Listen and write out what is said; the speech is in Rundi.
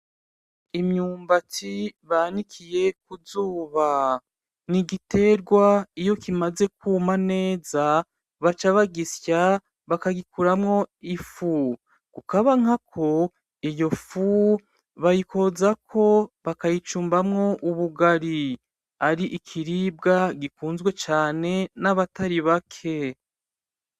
Imyumbati banikiye k'uzuba n'igiterwa iyo kimaze kuma neza baca bagisya bakagikuramwo ifu bukabanako iyo fu bayikozako bakayicumbako ubugari ar'ikiribwa gikuzwe cane nabatari bake.